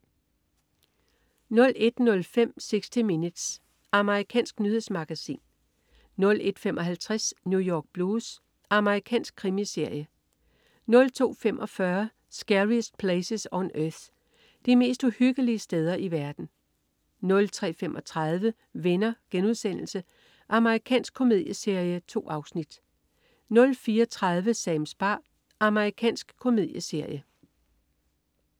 01.05 60 Minutes. Amerikansk nyhedsmagasin 01.55 New York Blues. Amerikansk krimiserie 02.45 Scariest Places on Earth. De mest uhyggelige steder i verden 03.35 Venner.* Amerikansk komedieserie. 2 afsnit 04.30 Sams bar. Amerikansk komedieserie